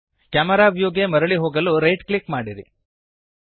camera ವ್ಯೂಗೆ ಮರಳಿ ಹೋಗಲು ರೈಟ್ ಕ್ಲಿಕ್ ಮಾಡಿರಿ